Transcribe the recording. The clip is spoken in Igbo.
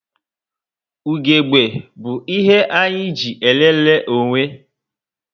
Ugegbe bu ihe anyị eji elele onwe